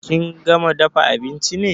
Kin gama dafa abinchi ne?